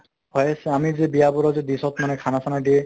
হয় আমি যে বিয়া বোৰত যে disc ত মানে খানা চানা দিয়ে